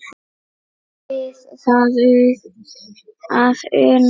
Er við það að una?